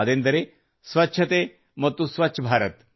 ಅದೆಂದರೆ ಸ್ವಚ್ಛತೆ ಮತ್ತು ಸ್ವಚ್ಛಭಾರತ್